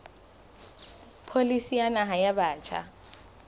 pholisi ya naha ya batjha